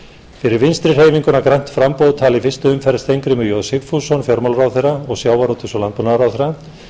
fyrir vinstri hreyfinguna grænt framboð talar í fyrstu umferð steingrímur j sigfússon fjármálaráðherra og sjávarútvegs og landbúnaðarráðherra